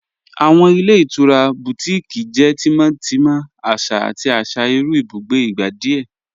Awọn ilẹ̀ itura Bùtíkìí jẹ́ tímọ́tímọ̀, àṣà àti àṣà irú ìbùgbé ìgbà díẹ̀.